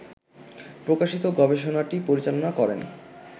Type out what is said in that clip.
প্রকাশিত গবেষণাটি পরিচালনা করেন